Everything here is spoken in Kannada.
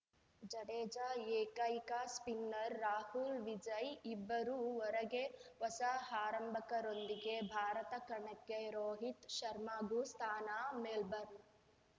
ಜಡೇಜಾ ಏಕೈಕ ಸ್ಪಿನ್ನರ್‌ ರಾಹುಲ್‌ವಿಜಯ್‌ ಇಬ್ಬರೂ ಹೊರಗೆ ಹೊಸ ಆರಂಭಕರೊಂದಿಗೆ ಭಾರತ ಕಣಕ್ಕೆ ರೋಹಿತ್‌ ಶರ್ಮಾಗೂ ಸ್ಥಾನ ಮೆಲ್ಬರ್ನ್‌